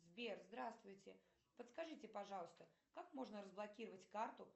сбер здравствуйте подскажите пожалуйста как можно разблокировать карту